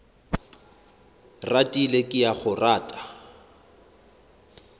ratile ke a go rata